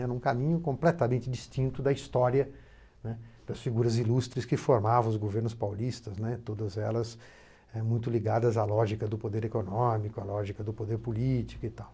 Era um caminho completamente distinto da história, né, das figuras ilustres que formavam os governos paulistas, né, todas elas eh muito ligadas à lógica do poder econômico, à lógica do poder político e tal.